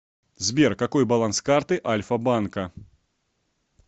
сбер какой баланс карты альфа банка